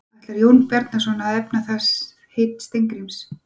Ætlar Jón Bjarnason að efna það heit Steingríms?